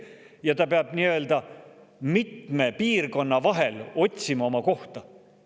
Ja ta peab nii-öelda mitme piirkonna vahel otsima oma kohta.